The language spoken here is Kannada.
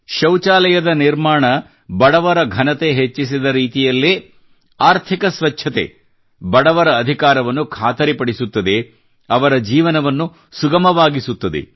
ಶೌಚಾಲಯದ ನಿರ್ಮಾಣ ಬಡವರ ಘನತೆ ಹೆಚ್ಚಿಸಿದ ರೀತಿಯಲ್ಲೇ ಆರ್ಥಿಕ ಸ್ವಚ್ಛತೆ ಬಡವರ ಅಧಿಕಾರವನ್ನು ಖಾತರಿ ಪಡಿಸುತ್ತದೆ ಅವರ ಜೀವನವನ್ನು ಸುಗಮವಾಗಿಸುತ್ತದೆ